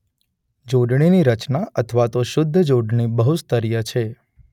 જોડણીની રચના અથવા તો શુદ્ધ જોડણી બહુસ્તરીય છે.